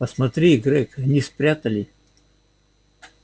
посмотри грег они спрятали